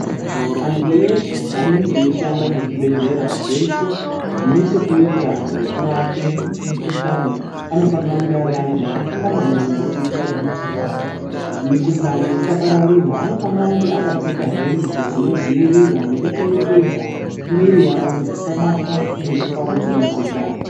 Antu eshe anenge eishanda muzvibhedhlera zveshe zvine chekuita nekurape mikuhlani anofanire kunge ari antu akafunda maningi kuitira kuti mikhuhlani isapararira .Anofanira kunga akapfeka hembe dzinodziirira nekuchengetedza mwiri yawo kuti isabatwa nekuparadzira mukhuhlani.